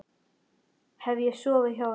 Hef ég sofið hjá henni?